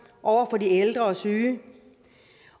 over for de ældre og syge